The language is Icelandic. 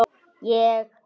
JÓN: Ég minnist þess.